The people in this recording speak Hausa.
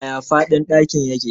Yaya faɗin ɗakin yake?